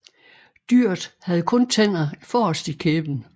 Dyret havde kun tænder forrest i kæben